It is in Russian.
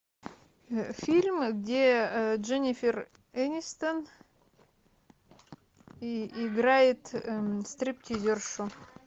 фильм где дженнифер энистон играет стриптизершу